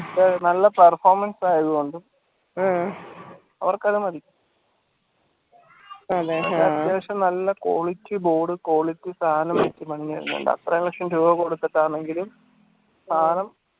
നല്ല performance ആയതുകൊണ്ടും അവർക്കതുമതി അത്യാവശ്യം നല്ല quality board quality സാനം അത്ര ലക്ഷം രൂപ കൊടുത്തിട്ടാണെങ്കിലും സാനം